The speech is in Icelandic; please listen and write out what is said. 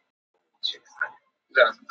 Kali, opnaðu dagatalið mitt.